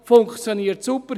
Funktioniert super!